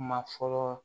Kuma fɔlɔ